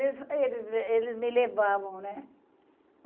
eles me levavam, né?